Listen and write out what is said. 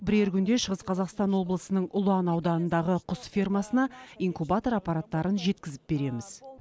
бірер күнде шығыс қазақстан облысының ұлан ауданындағы құс фермасына инкубатор аппараттарын жеткізіп береміз